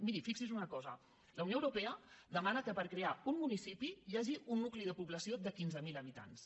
miri fixi’s en una cosa la unió europea demana que per crear un municipi hi hagi un nucli de població de quinze mil habitants